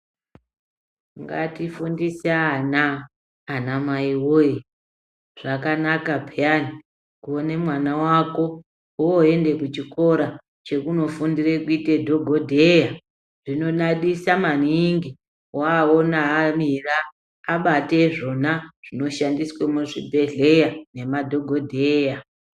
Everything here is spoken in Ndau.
Ngatifundise vana ana mai woye!, zvakanaka peyani kuone mwana wako oenda kuchikora chekunofundire kuite dhokodheya zvinodadisa maningi waona amira abate zvona zvinoshandiswa muchibhedhlera ngemadhokodheya.